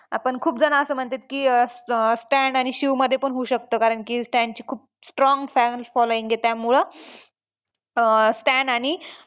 हां पण खूप जण असं म्हणत्यात की Stan आणि शिवमध्ये पण होऊ शकतं कारण की Stan ची खूप strong fan following आहे त्यामुळं अं Stan आणि